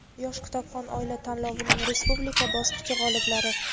"Yosh kitobxon oila" tanlovining respublika bosqichi g‘oliblari:.